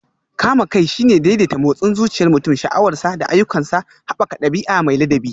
Kame kai shine daidaita motsin zuciyar mutum, sha'awarsa, da ayyukansa, haɓaka ɗabi'a mai ladabi.